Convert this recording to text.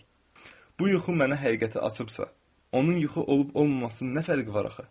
Bu yuxu mənə həqiqəti açıbsa, onun yuxu olub-olmaması nə fərqi var axı?